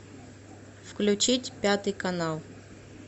включить пятый канал